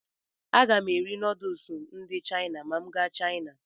Aga m eri nuduls ndị Chaina ma m gaa Chaina.